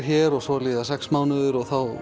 hér og svo líða sex mánuðir og þá